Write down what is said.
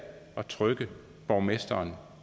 at trykke borgmesteren